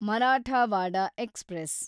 Marathwada express